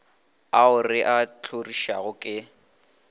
ao re a hlorišago ke